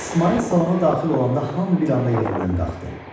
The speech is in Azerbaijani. İsmayıl salona daxil olanda hamı bir anda yerindən qalxdı.